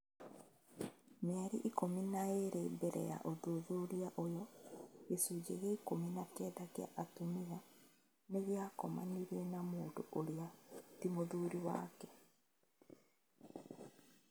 Mĩeri ikũmi na ĩĩrĩ mbele ya ũthuthuria ũyũ, gĩcunjĩ gĩa ikũmi na kenda kĩa atumia nĩgĩakomanĩe na mũndũ ũrĩa ti mũthuri wake